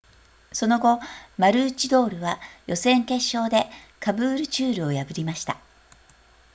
その後マルーチドールは予選決勝でカブールチュールを破りました